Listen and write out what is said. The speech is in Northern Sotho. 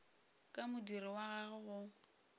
ka modiro wa gagwe go